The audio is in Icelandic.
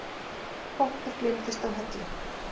Pottur gleymdist á hellu